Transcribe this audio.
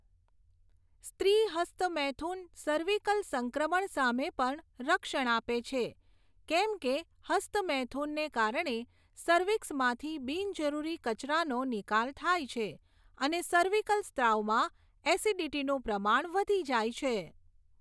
સ્ત્રી હસ્ત મૈથુન સર્વીકલ સંક્રમણ સામે પણ રક્ષણ આપે છે, કેમ કે હસ્ત મૈથુનને કારણે સર્વીક્સમાંથી બિન જરુરી કચરાનો નિકાલ થાય છે અને સર્વીકલ સ્ત્રાવમાં એસિડીટીનું પ્રમાણ વધી જાય છે.